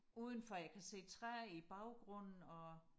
udenfor jeg kan se træer i baggrunden og